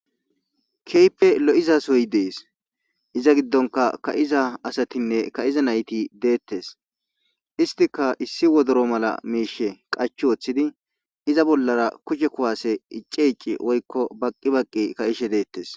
keype lo7izasoyi dees iza giddonka ka7iza asatinne ka7iza nayti deettes istika issi wodoro mala miishe qach wooththidi iza bollara kushe kuwaase icci icci woykko baqqi baqqi ka7ishe deettes